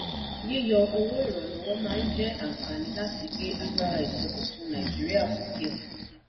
yíyọ owó ìrànlọ́wọ́ máa jẹ́ àǹfààní láti gbé agbára ìsọdọ̀tun nàìjíríà sókè